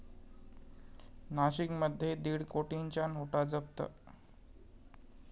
नाशिकमध्ये दीड कोटींच्या नोटा जप्त